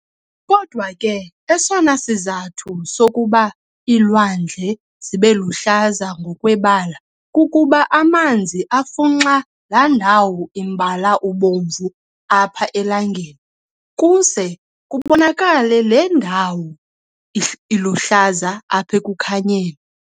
Kodwa ke esona sizathu sokuba iilwandle zibeluhlaza ngokwebala kukuba amanzi afunxa laandawo imbala ubomvu apha elangeni, kuze kubonakale le ndawo iluhlaza apha ekukhanyeni.